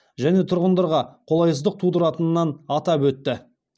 және тұрғындарға қолайсыздық тудыратынынан атап өтті